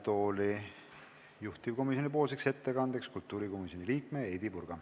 Palun juhtivkomisjoni ettekandeks kõnetooli kultuurikomisjoni liikme Heidy Purga.